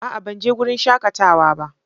A'a! Ban je wurin shakatawa ba.